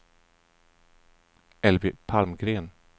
Elvy Palmgren